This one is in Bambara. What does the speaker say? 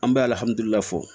An bɛ fɔ